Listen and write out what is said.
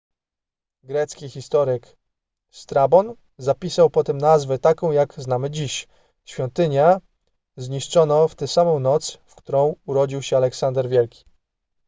grecki historyk strabon zapisał potem nazwę taką jak znamy dziś świątynia zniszczono w tę samą noc w którą urodził się aleksander wielki